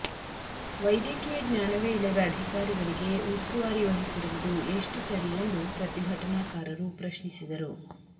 ವೈದ್ಯಕೀಯ ಜ್ಞಾನವೇ ಇಲ್ಲದ ಅಧಿಕಾರಿಗಳಿಗೆ ಉಸ್ತುವಾರಿ ವಹಿಸಿರುವುದು ಎಷ್ಟು ಸರಿ ಎಂದು ಪ್ರತಿಭಟನಾಕಾರರು ಪ್ರಶ್ನಿಸಿದರು